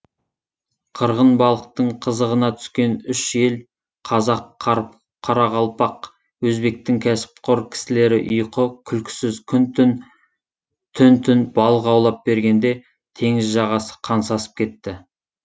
қырғын балықтың қызығына түскен үш ел қазақ қарақалпақ өзбектің кәсіпқор кісілері ұйқы күлкісіз күн түн түн түн балық аулап бергенде теңіз жағасы қан сасып кетті